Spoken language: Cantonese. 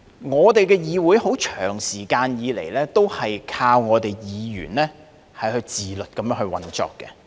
我們的議會長時間以來，都是靠議員自律地運作。